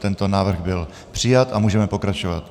Tento návrh byl přijat a můžeme pokračovat.